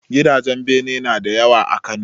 Gidajen bene nada yawa a Kano